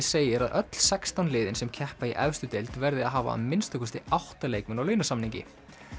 segir að öll sextán liðin sem keppa í efstu deild verði að hafa að minnsta kosti átta leikmenn á launasamningi